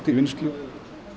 vinnslu